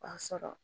O b'a sɔrɔ